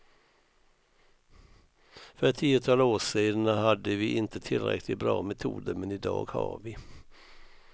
För ett tiotal år sedan hade vi inte tillräckligt bra metoder, men idag har vi.